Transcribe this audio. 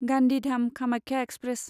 Gandhidham Kamakhya express